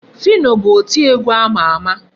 Phyno bụ oti egwu ama ama.